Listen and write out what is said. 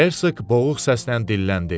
Herseq boğuq səslə dilləndi.